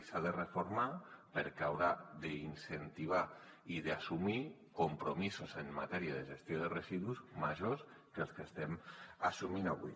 i s’ha de reformar perquè haurà d’incentivar i d’assumir compromisos en matèria de gestió de residus majors que els que estem assumint avui